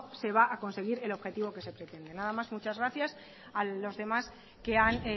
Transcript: se va a conseguir el objetivo que se pretende nada más y muchas gracias